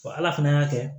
Wa ala fana y'a kɛ